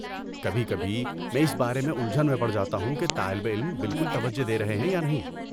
کبھی کبھی، میں اس بارے میں الجھن میں پڑ جاتا ہوں کہ طالب علم بالکل توجہ دے رہے ہیں یا نہیں۔